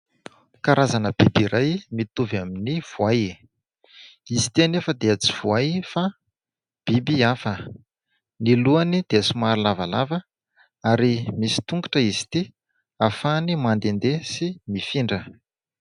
Krazana biby iray mitovy amin'ny voay. Izy itỳ anefa dia tsy voay fa biby hafa. Ny lohany dia somary lavalava ary misy tongotra izy itỳ ahafahany mandehandeha sy mifindra.